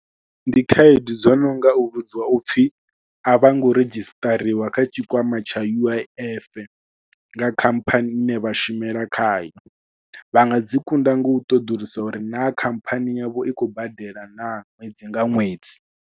Ndi khaedu dzo no nga u vhudziwa u pfhi a vha ngo redzhistariwa kha tshikwama tsha U_I_F nga khamphani ine vha shumela khayo, vha nga dzi kunda ngo u ṱoḓulusa uri naa khamphani yavho i khou badela nga ṅwedzi nga ṅwedzi.